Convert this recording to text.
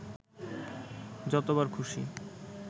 যতবার খুশি